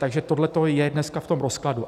Takže tohle je dneska v tom rozkladu.